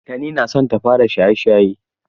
Tani na so ta fara shaye-shaye.